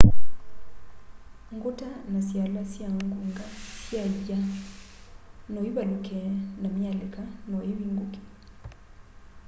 nguta na siala sya ngunga sya iya noivaluke na myalika no yivunge